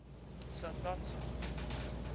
sa stats sa